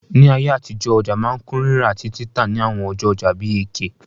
Ní ayé àtijọ́, ọja ma n kun rírà àtí títà ni àwon ọjọ́ ojà bi Eke